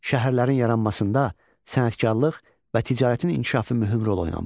Şəhərlərin yaranmasında sənətkarlıq və ticarətin inkişafı mühüm rol oynamışdı.